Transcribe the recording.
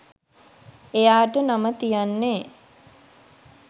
එයාට නම තියන්නේ